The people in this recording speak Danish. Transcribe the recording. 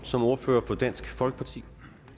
som ordfører for dansk folkeparti